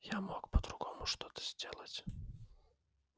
я мог по-другому что-то сделать